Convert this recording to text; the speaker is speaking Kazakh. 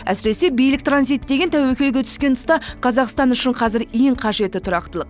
әсіресе билік транзиті деген тәуекелге түскен тұста қазақстан үшін қазір ең қажеті тұрақтылық